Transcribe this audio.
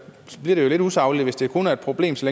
bliver lidt usagligt hvis det kun er et problem så